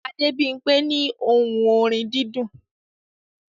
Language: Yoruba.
Adebimpe ní ohùn orin dídùn